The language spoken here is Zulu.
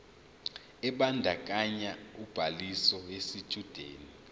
ebandakanya ubhaliso yesitshudeni